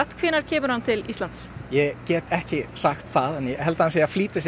hvenær kemur hann til Íslands ég get ekki sagt það en held hann sé að flýta sér